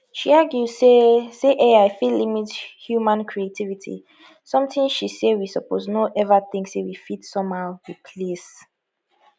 she argue say say ai fit limit human creativity sometin she say we suppose no ever think say we fit somehow replace